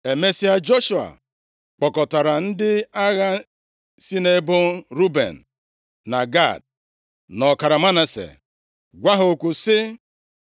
Emesịa, Joshua kpọkọtara ndị agha si nʼebo Ruben, na Gad, na ọkara Manase, gwa ha okwu sị: